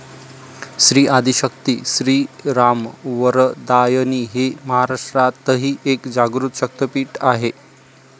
श्री आदिशक्ती श्रीरामवरदायिनी हे महाराष्ट्रातही एक जागृत शक्तीपीठ आहे.